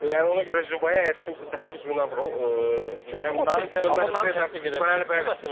Yəni yəni ona görə Zirəyə əgər kimsə 800 min avro Cünki o temperatur təsdiq edə bilməz bu məsələdə.